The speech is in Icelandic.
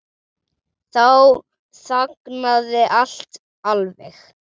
Þá þagnaði allt alveg.